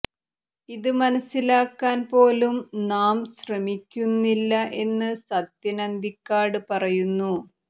ഇത് മനസിലാക്കാൻ പോലും നാം ശ്രമിക്കുന്നില്ല എന്ന് സത്യൻ അന്തിക്കാട് പറയുന്നു